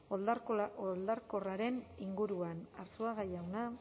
oldarkorraren inguruan arzuaga jauna